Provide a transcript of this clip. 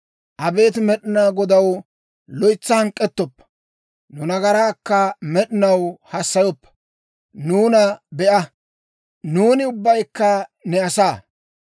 Abeet Med'inaa Godaw, loytsa hank'k'ettoppa; nu nagaraakka med'inaw hassayoppa. Nuuna be'a, nuuni ubbaykka ne asaa.